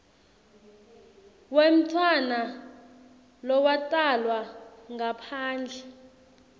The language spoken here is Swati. wemntfwana lowatalwa ngaphandle